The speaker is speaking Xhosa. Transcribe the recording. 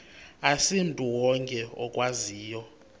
asimntu wonke okwaziyo